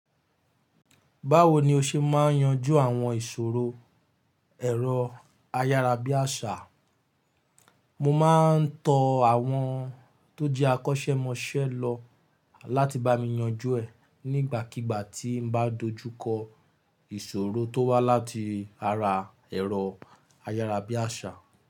Báwo ni o ṣe máa ń yanjú àwọn ìṣòro ẹ̀rọ ayárabíàṣá? Mo máa ń tọ àwọn tó jẹ́ akọ́ṣẹ́mọṣẹ́ lọ láti bá mi yanjú ẹ̀ nígbàkigbà tí n bá dojú kọ ìṣòro tó wá láti ara ẹ̀rọ ayárabíàṣá.